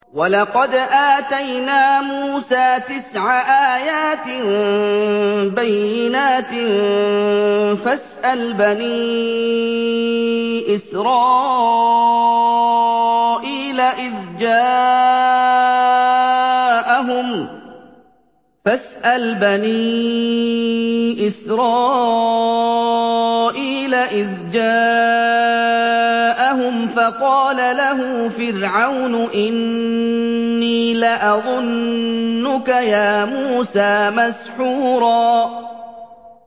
وَلَقَدْ آتَيْنَا مُوسَىٰ تِسْعَ آيَاتٍ بَيِّنَاتٍ ۖ فَاسْأَلْ بَنِي إِسْرَائِيلَ إِذْ جَاءَهُمْ فَقَالَ لَهُ فِرْعَوْنُ إِنِّي لَأَظُنُّكَ يَا مُوسَىٰ مَسْحُورًا